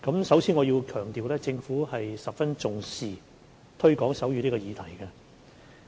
首先我要強調政府十分重視推廣手語這項議題。